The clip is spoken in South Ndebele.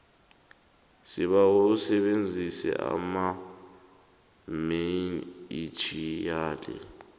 sibawa usebenzise amainitjhiyali